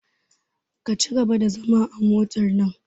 Ka cigaba da zama a motar nan!